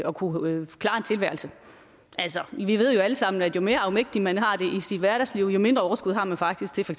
at kunne klare tilværelsen altså vi ved jo alle sammen at jo mere afmægtig man er i sit hverdagsliv jo mindre overskud har man faktisk til for